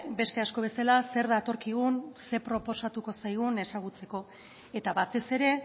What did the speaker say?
beste asko bezala zer datorkigun zer proposatuko zaigun ezagutzeko eta batez ere